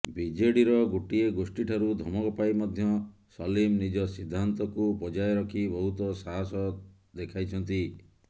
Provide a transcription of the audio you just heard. ବିଜେଡିର ଗୋଟିଏ ଗୋଷ୍ଠୀଠାରୁ ଧମକ ପାଇ ମଧ୍ୟ ସଲିମ୍ ନିଜ ସିଦ୍ଧାନ୍ତକୁ ବଜାୟ ରଖି ବହୁତ ସାହସ ଦେଖାଇଛନ୍ତି